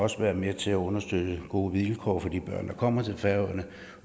også være med til at understøtte gode vilkår for de børn der kommer til færøerne